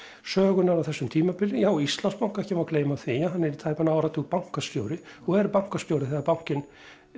sögunnar á þessu tímabili já Íslandsbanka ekki má gleyma því hann er í tæpan áratug bankastjóri og er bankastjóri þegar bankinn